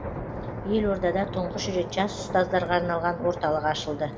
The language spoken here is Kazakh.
елордада тұңғыш рет жас ұстаздарға арналған орталық ашылды